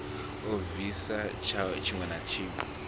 a bvise tshiwe na tshiwe